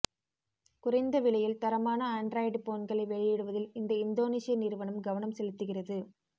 குறைந்த விலையில் தரமான ஆன்டிராய்டு போன்களை வெளியிடுவதில் இந்த இந்தோனிசய நிறுவனம் கவனம் செலுத்துகிறகது